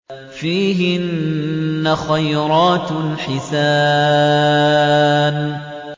فِيهِنَّ خَيْرَاتٌ حِسَانٌ